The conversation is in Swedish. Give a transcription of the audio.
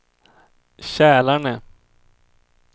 Kälarne